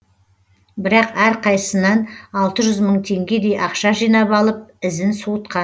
бірақ әрқайсысынан алты жүз мың теңгедей ақша жинап алып ізін суытқан